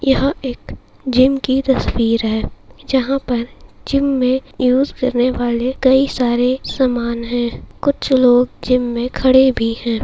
यह एक जिम की तस्वीर है जहा पर जिम में यूज करनेवाले कई सारे सामान है कुछ लोग जिम में खड़े भी है।